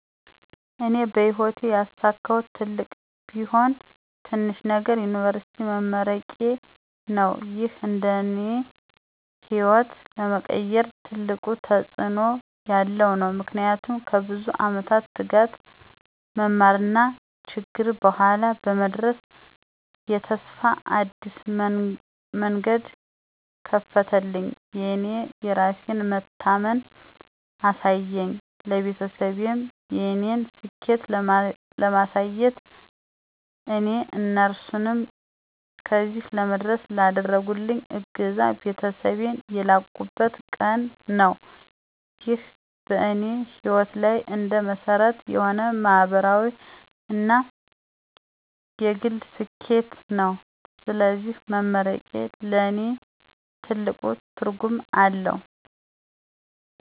እኔ በሕይወቴ ያሳካሁት ትልቅም ቢሆን ትንሽም ነገር የዩኒቨርሲቲ መመረቄዬ ነው። ይህ እንደ እኔ ሕይወት ለመቀየር ትልቅ ተጽእኖ ያለው ነው። ምክንያቱም ከብዙ ዓመት ትጋት፣ መማርና ችግር በኋላ በመድረስ የተስፋ አዲስ መንገድ ከፈተልኝ። የእኔ የራሴን መታመን አሳየኝ፣ ለቤተሰቤም የእኔን ስኬት ለማሳየት እና እነሱንም ለዚህ ለመድረሴ ላደረጉልኝ እገዛ ቤተሰቤን ያላቁበት ቀን ነው። ይህ በእኔ ሕይወት ላይ እንደ መሰረት የሆነ ማህበራዊ እና የግል ስኬቴ ነው። ስለዚህ መመረቄ ለእኔ ትልቅ ትርጉም አለው።